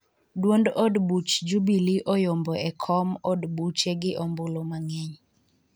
duond od buch Jubilee oyombo e kom od buche gi ombulu mang'eny